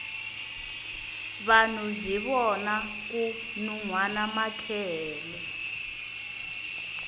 vanhu hi vona ku nuhwana makehele